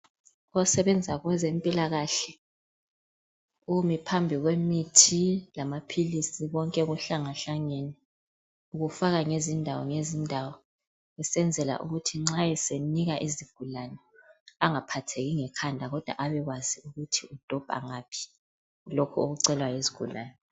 Osebenza kwezempilakahle ume phambi lwemithi lamaphilisi konke kuhlangahlangene ukufaka ngezindawo ngezindawo ukwenzela ukuthi nxa esenika izigulane angaphatheki ngekhanda kodwa abekwazi ukuthi udobha ngaphi lokhu okucelwa yizigulane